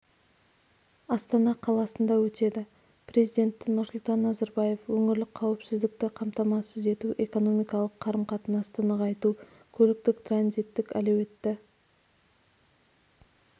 астана қаласында өтеді президенті нұрсұлтан назарбаев өңірлік қауіпсіздікті қамтамасыз ету экономикалық қарым-қатынасты нығайту көліктік-транзиттік әлеуетті